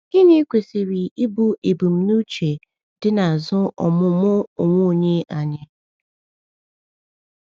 Gịnị kwesịrị ịbụ ebumnuche dị n’azụ ọmụmụ onwe onye anyị?